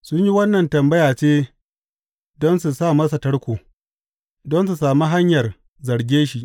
Sun yi wannan tambaya ce don su sa masa tarko, don su sami hanyar zarge shi.